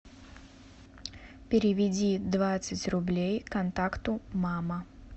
переведи двадцать рублей контакту мама